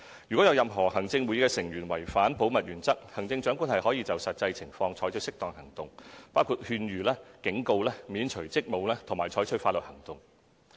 如有任何行政會議成員違反保密原則，行政長官可就實際情況採取適當行動，包括勸諭、警告、免除職務，以及採取法律行動。